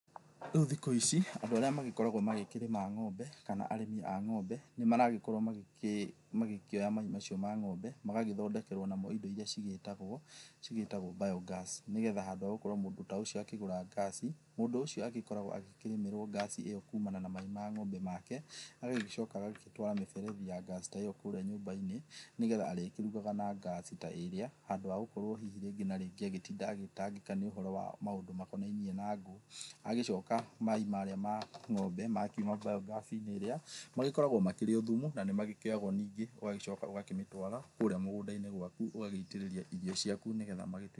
Rĩu thĩkũ ĩci andũ arĩa magĩkoragwo magĩkĩrĩma ng'ombe, kana arĩmi a ng'ombe, nĩmaragĩkorwo magĩkĩoya mai macio ma ng'ombe magagĩthondekerwo namo ĩndo ĩria cigĩtagwo biogas, nĩgetha handũ ha gũkorwo mũndũ ta ũcio agakĩgũra ngaci, mũndũ ũcio agĩkoragwo akĩrĩmĩrwo ngaci ĩyo kumana na mai ma ng'ombe make. Agagĩcoka agagĩtwara mĩberethi ya ngaci ta ĩyo kũrĩa nyũmba-inĩ, nĩgetha arĩkĩrugaga na ngaci ta ĩrĩa handũ ha gũkorwo hihi rĩngĩ na rĩngĩ agĩtinda agĩtangĩka nĩ ũhoro wa maũndũ makonainie na ngũ. Agĩcoka maĩ marĩa ma ng'ombe ma kiuma biogas-inĩ ĩrĩa makoragwo makĩrĩ o thumu, na nĩ magĩkĩoyagwo ningĩ ũgacoka ũgakĩmatwara kũrĩa mũgũnda-inĩ gwaku, ũgagĩitĩrĩria irio cĩaku nĩgetha…